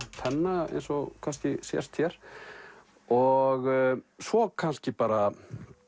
penna eins og kannski sést hér og svo kannski bara